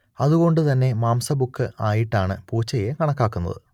അതുകൊണ്ട് തന്നെ മാംസഭുക്ക് ആയിട്ടാണ് പൂച്ചയെ കണക്കാക്കുന്നത്